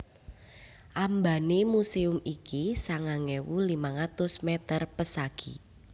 Ambané muséum iki sangang ewu limang atus mèter pesagi